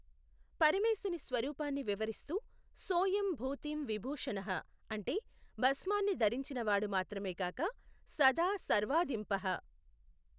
పరమేశుని స్వరూపాన్ని వివరిస్తూ సోయం భూతిం విభూషణః అంటే భస్మాన్ని ధరించినవాడు మాత్రమేగాక సదా సర్వాధీంపః.